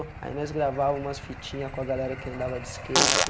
Aí nós gravava umas fitinhas com a galera que andava de skate.